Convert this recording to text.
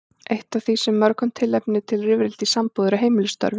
Eitt af því sem er mörgum tilefni til rifrilda í sambúð eru heimilisstörfin.